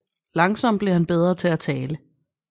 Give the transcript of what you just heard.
Langsomt blev han bedre til at tale